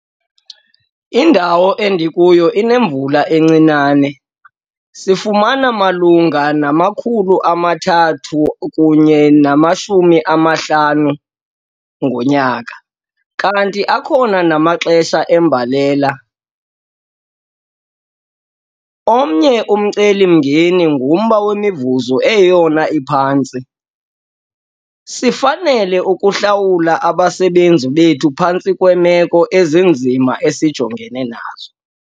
Indawo endikuyo inemvula encinane, sifumana malunga ne-350 mm ngonyaka, kanti akhona namaxesha embalela. Omnye umceli-mngeni ngumba wemivuzo eyeyona iphantsi - sifanele ukuhlawula abasebenzi bethu phantsi kweemeko ezinzima esijongene nazo.